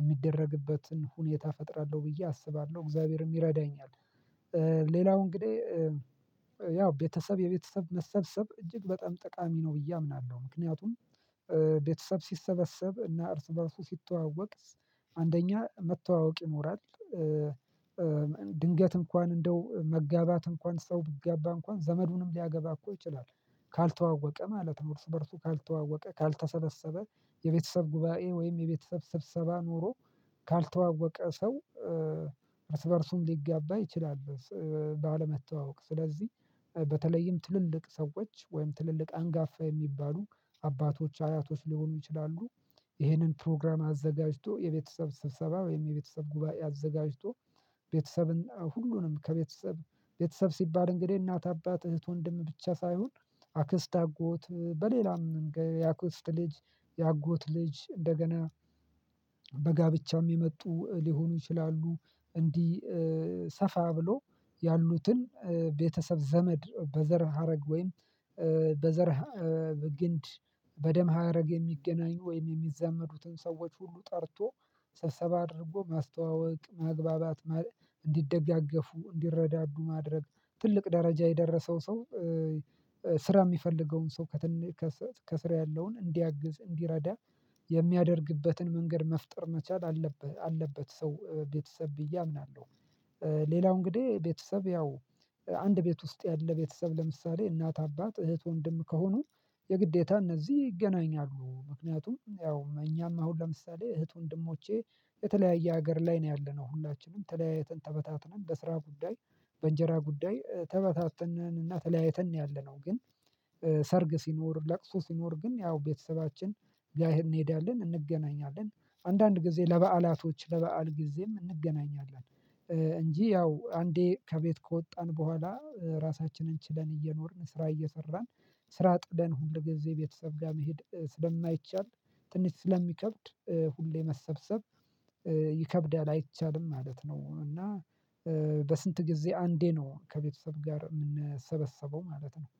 የሚደረግበትን ሁኔታ እፈጥራለሁ ብዬ አስባለሁ እግዚአብሔርም ይረዳኛል። ሌላው እንግዲህ ያው ቤተሰብ የቤተሰብ መሰብሰብ እጅግ በጣም ጠቃሚ ነው ብዬ አምናለሁ። ምክንያቱም ቤተሰብ ሲሰበሰብ እና እርስ በእርሱ ሲተዋወቅ አንደኛ መተዋወቅ ይኖራል። ድንገት እንኳን እንደው መጋባት እንኳን ሰው ብጋባ እንኳን ዘመዱንም ሊያገባ እኮ ይችላል ካልተዋወቀ ማለት ነው። እርሱ በእርሱ ካልተዋወቀ ካልተሰበሰበ የቤተሰብ ጉባኤ ወይም የቤተሰብ ስብሰባ ኖሮ ካልተዋወቀ ሰው እርስ በእርሱም ሊጋባ ይችላል። ባለመተዋወቅ ስለዚህ በተለይም ትልልቅ ሰዎች ወይም ትልልቅ አንጋፋ የሚባሉ አባቶች አያቶች ሊሆኑ ይችላሉ። ይሄንን ፕሮግራም አዘጋጅቶ የቤተሰብ ስብሰባ ወይም የቤተሰብ ጉባኤ አዘጋጅቶ ቤተሰብን ሁሉንም ከቤተሰብ ቤተሰብ ሲባል እንግዲህ እናት አባት እህት ወንድም ብቻ ሳይሆን አክስት አጎት በሌላም የአክስት ልጅ የአጎት ልጅ እንደገና በጋብቻም የመጡ ሊሆኑ ይችላሉ። እንዲህ ሰፋ ብሎ ያሉትን ቤተሰብ ዘመድ በዘር ሀረግ ወይም በዘር በግንድ በደም ሀረግ የሚገናኙ ወይም የሚዛመዱትን ሰዎች ሁሉ ጠርቶ ሰብሰባ አድርጎ ማስተዋወቅ ማግባባት እንዲደጋገፉ እንዲረዳዱ ማድረግ ትልቅ ደረጃ የደረሰው ሰው ስራ የሚፈልገውን ሰው ከስር ያለውን እንዲያግዝ እንዲረዳ የሚያደርግበትን መንገድ መፍጠር መቻል አለበት ሰው ቤተሰብ ብዬ አምናለሁ። ሌላው እንግዲህ ቤተሰብ ያው አንድ ቤት ውስጥ ያለ ቤተሰብ ለምሳሌ እናት አባት እህት ወንድም ከሆኑ የግዴታ እነዚህ ይገናኛሉ ምክንያቱም ያው እኛም አሁን ለምሳሌ እህት ወንድሞቼ የተለያየ ሀገር ላይ ነው ያለነው ሁላችንም ተለያየትን ተበታትነን በስራ ጉዳይ በእንጀራ ጉዳይ ተበታትነን እና ተለያይተን ነው። ያለነው ግን ሰርግ ሲኖር ለቅሶ ሲኖር ግን ያው ቤተሰባችን ቢያይ እንሄዳለን እንገናኛለን። አንዳንድ ጊዜ ለበአላቶች ለበአል ጊዜም እንገናኛለን። እንጂ ያው አንዴ ከቤት ከወጣን በኋላ ራሳችንን ችለን እየኖርን ስራ እየሰራን ስራ ጥደን ሁል ጊዜ ቤተሰብ ጋር መሄድ ስለማይቻል ትንሽ ስለሚከብድ ሁሌ መሰብሰብ ይከብዳል አይቻልም ማለት ነው። እና በስንት ጊዜ አንዴ ነው ከቤተሰብ ጋር የምንሰበሰበው ማለት ነው